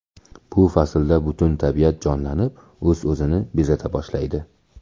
Bu faslda butun tabiat jonlanib o‘z-o‘zini bezata boshlaydi.